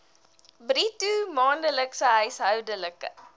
bruto maandelikse huishoudelike